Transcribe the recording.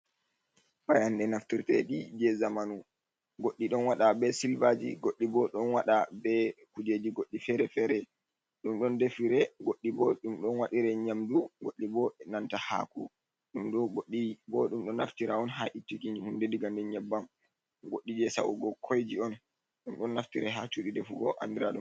Payanɗe naftirteɗi jei zamanu. Goɗɗi ɗon waɗa be silvaaji. Goɗɗi bo ɗon waɗa be kuujeji goɗɗi fere-fere. Ɗum ɗon defire, goɗɗi bo ɗum ɗon waɗire nyamdu, goɗɗi bo e nanta haako, ɗum ɗo goɗɗi bo ɗum ɗo naftira on haa ittuki hunde daga nder nyabbam. Goɗɗi jei sa’ugo koyji on. Ɗum ɗon naftira haa cuudi defugo andira ɗum...